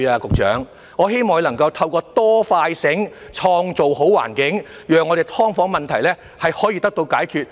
局長，我希望你能夠透過"多、快、醒"來創造好環境，讓我們的"劏房"問題可以得到解決。